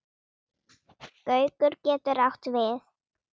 Gaukur getur átt við